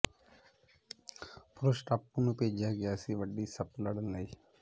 ਪੁਰਸ਼ ਟਾਪੂ ਨੂੰ ਭੇਜਿਆ ਗਿਆ ਸੀ ਵੱਡੀ ਸੱਪ ਲੜਨ ਲਈ